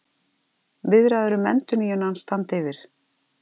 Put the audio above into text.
Viðræður um endurnýjun hans standa yfir